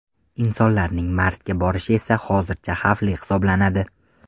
Insonlarning Marsga borishi esa hozircha xavfli hisoblanadi.